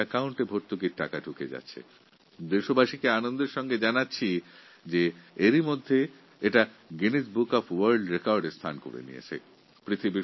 দেশবাসীকে এটা জানাতে পেরে আমি গর্বিত যে সব থেকে বড় ডাইরেক্ট বেনিফিট প্রকল্প সাফল্যের সঙ্গে চালু করার জন্য এটা গিনেস বুক অফ ওয়ার্ল্ড রেকর্ডস্এ স্থান পেয়েছে